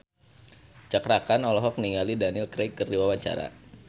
Cakra Khan olohok ningali Daniel Craig keur diwawancara